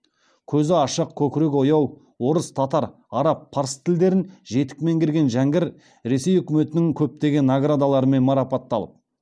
көзі ашық көкірегі ояу орыс татар араб парсы тілдерін жетік меңгерген жәңгір ресей үкіметінің көптеген наградаларымен марапатталып